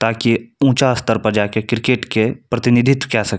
ताकि ऊँचा स्तर पर जा के क्रिकेट के प्रतिनिधित्व किया सक --